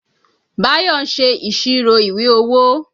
Bayo ń ṣe ìṣirò ìwé owó